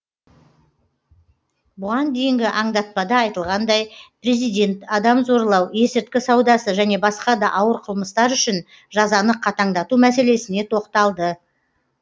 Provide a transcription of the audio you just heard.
бұған дейінгі аңдатпада айтылғандай президент адам зорлау есірткі саудасы және басқа да ауыр қылмыстар үшін жазаны қатаңдату мәселесіне тоқталды